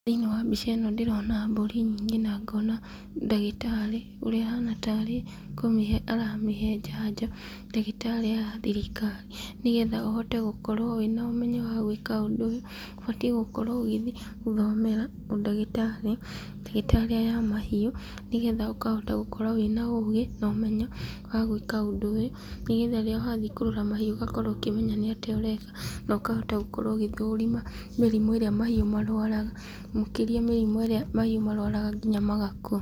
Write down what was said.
Thĩinĩ wa mbica ĩno ndĩrona mbũri nyingĩ na ngona ndagĩtarĩ, ũrĩa ahana ta arĩ kũmĩhe aramĩhe njanjo, ndagĩtarĩ aya a thirikari. Nĩgetha ũhote gũkorwo wĩna ũmenyo wa gwĩka ũndũ ũyũ, ũbatiĩ gũkorwo ũgĩthiĩ gũthomera ũndagĩtarĩ, ndagĩtarĩ aya a mahiũ, nĩgetha ũkahota gũkorwo wĩna ũgĩ, na ũmenyo wa gwĩka ũndũ ũyũ, nĩgetha rĩrĩa wathiĩ kũrora mahiũ ũgakorwo ũkĩmenya nĩatĩa ũreka, na ũkahota gũkorwo ũgĩthũrima mĩrimũ ĩrĩa mahiũ marwaraga, makĩria mĩrimũ ĩrĩa mahiũ marwaraga nginya magakua.